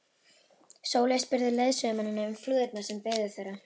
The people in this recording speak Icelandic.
Sóley spurði leiðsögumennina um flúðirnar sem biðu þeirra.